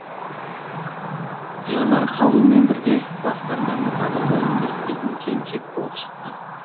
жанар қабылмен бірге басқарманың кадр бөлімінде істейтін келіншек болып шықты